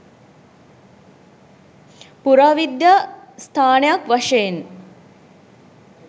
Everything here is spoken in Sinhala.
පුරාවිද්‍යා ස්ථානයක් වශයෙන්